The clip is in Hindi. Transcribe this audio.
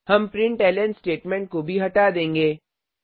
हम प्रिंटलन स्टेटमेंट को भी हटा देंगे